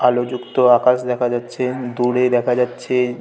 আলো যুক্ত আকাশ দেখা যাচ্ছে দূরে দেখা যাচ্ছে--